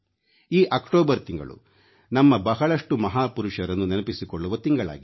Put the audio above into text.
ಈ ಅಕ್ಟೋಬರ್ ತಿಂಗಳು ನಮ್ಮ ಬಹಳಷ್ಟು ಮಹಾಪುರುಷರನ್ನು ನೆನಪಿಸಿಕೊಳ್ಳುವ ತಿಂಗಳಾಗಿದೆ